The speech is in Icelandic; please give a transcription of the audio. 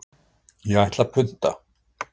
Ég ætla að punta.